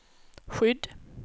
skydd